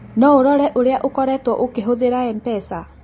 No ũrore ũrĩa ũkoretũo ũkĩhũthĩra M-pesa?